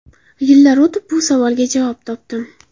Yillar o‘tib bu savolga javob topdim.